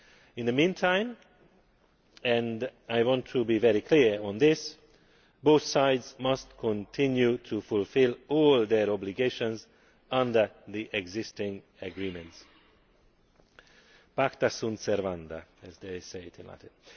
In the meantime, and I want to be very clear on this, both sides must continue to fulfil all their obligations under the existing agreements ʻPacta sunt servanda', as they say in Latin.